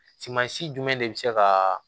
Suman si jumɛn de bi se ka